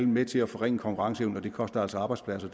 med til at forringe konkurrenceevnen og det koster altså arbejdspladser